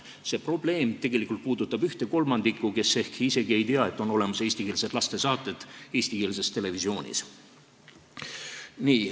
See probleem tegelikult puudutab ühte kolmandikku, kes ehk isegi ei tea, et on olemas eestikeelsed lastesaated eestikeelses televisioonis.